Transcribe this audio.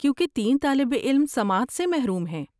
کیونکہ تین طالب علم سماعت سے محروم ہیں۔